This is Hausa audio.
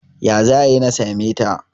ya za a yi na same ta?